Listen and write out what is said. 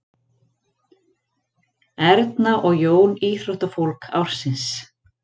Erna og Jón íþróttafólk ársins